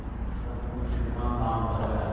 सब कुछ कितना शान्त है